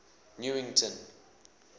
newington